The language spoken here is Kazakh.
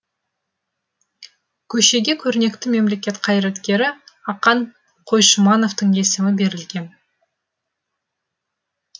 көшеге көрнекті мемлекет қайраткері ақан қойшымановтың есімі берілген